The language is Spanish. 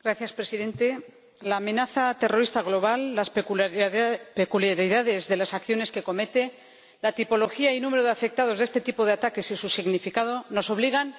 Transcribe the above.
Señor Presidente, la amenaza terrorista global, las peculiaridades de las acciones que comete, la tipología y número de afectados de este tipo de ataques y su significado nos obligan